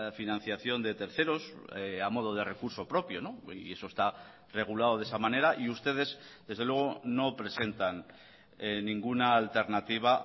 financiación de terceros a modo de recurso propio y eso está regulado de esa manera y ustedes desde luego no presentan ninguna alternativa